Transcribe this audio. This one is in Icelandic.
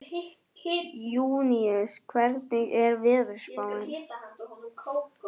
Júníus, hvernig er veðurspáin?